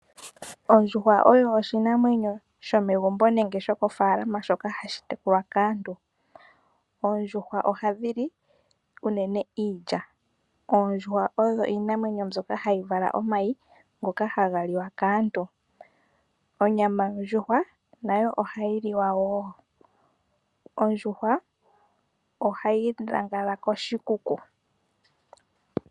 Ondjuhwa oyo oshinamwenyo shomegumbo nenge shokofaalama shoka hashi tekulwa kaantu. Oondjuhwa ohadhi li unene iilya. Oondjuhwa odho iinamwenyo mbyoka hayi vala omayi ngoka haga liwa kaantu. Onyama yondjuhwa nayo ohayi liwa wo. Ondjuhwa ohayi lala koshikuku.